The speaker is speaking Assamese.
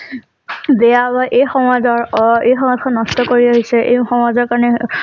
বেয়া বা এই সমাজৰ অ এই সমাজখন নষ্ট কৰি আহিছে এই সমাজৰ কাৰণে